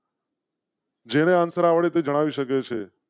જેને answer આવડે તે જણાવી શકે છે.